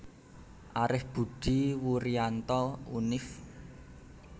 Arif Budi Wurianto Univ